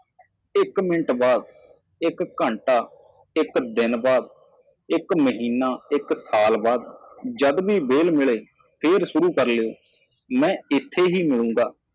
ਇੱਕ ਮਿੰਟ ਬਾਅਦ ਇਕ ਘੰਟਾ ਇੱਕ ਦਿਨ ਬਾਅਦ ਇੱਕ ਸਾਲ ਬਾਅਦ ਇੱਕ ਮਹੀਨਾ ਜਦੋਂ ਵੀ ਸਮਾਂ ਮਿਲਦਾ ਹੈ ਦੁਬਾਰਾ ਸ਼ੁਰੂ ਕਰੋ ਇਹ ਉਹੀ ਹੈ ਜੋ ਮੈਂ ਪ੍ਰਾਪਤ ਕਰਾਂਗਾ